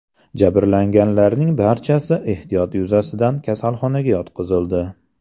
Jabrlanganlarning barchasi ehtiyot yuzasidan kasalxonaga yotqizildi.